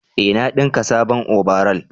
eh na dinka sabon obaral